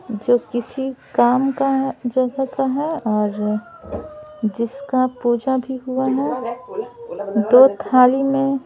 जो किसी काम का है जगह का है और जिसका पूजा भी हुआ है दो थाली में --